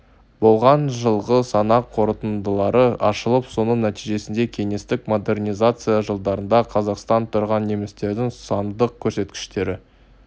болған жылғы санақ қорытындылары ашылып соның нәтижесінде кеңестік модернизация жылдарында қазақстанда тұрған немістердің сандық көрсеткіштері